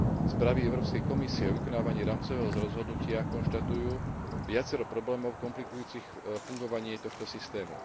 Správy Európske komisie o vykonávaní rámcového rozhodnutia konštatujú viacero problémov komplikujúcich fungovanie tohto systému.